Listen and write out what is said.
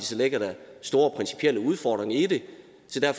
ligger der store principielle udfordringer i det